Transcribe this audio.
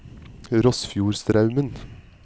Rossfjordstraumen